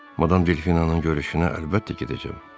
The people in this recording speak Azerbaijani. “Madam Delfinanın görüşünə əlbəttə gedəcəm.